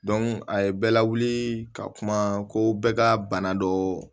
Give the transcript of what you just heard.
a ye bɛɛ lawuli ka kuma ko bɛɛ ka bana dɔ